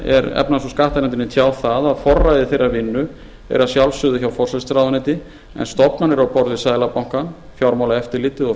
efnahags og skattanefndinni tjáð að forræði þeirrar vinnu er að sjálfsögðu hjá forsætisráðuneyti en stofnanir á borð við seðlabankann fjármálaeftirlitið og